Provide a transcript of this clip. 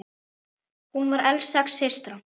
Hún var elst sex systra.